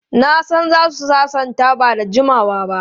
Na san za su sasanta ba da jimawa ba.